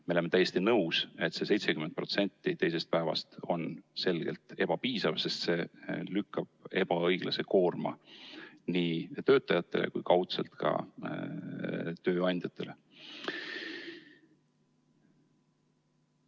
Me oleme täiesti nõus, et see 70% teisest päevast on selgelt ebapiisav, sest see lükkab ebaõiglase koorma nii töötajatele kui kaudselt ka tööandjatele.